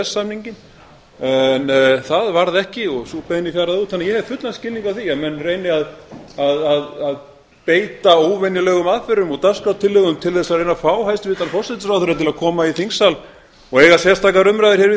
samninginn en það varð ekki og sú beiðni fjaraði út þannig að ég hef fullan skilning á því að menn reyni að beita óvenjulegum aðferðum og dagskrártillögum til að reyna að fá hæstvirtan forsætisráðherra til að koma í þingsal og eiga sérstakar umræður við